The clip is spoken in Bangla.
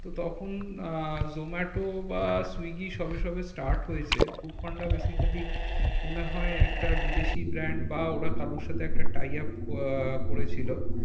তো তখন আহ জোমাটো বা সুইগী সবে সবে start হয়েছে ফুড পান্ডা basically মনে হয় একটা বিদেশি band বা ওরা কারো সাথে একটা try up আহ করেছিল।